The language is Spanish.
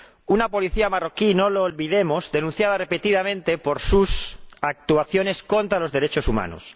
Una policía marroquí, no lo olvidemos, denunciada repetidamente por sus actuaciones contra los derechos humanos.